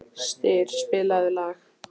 Styr, spilaðu lag.